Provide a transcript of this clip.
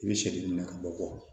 I bɛ sɛgɛn min na ka bɔ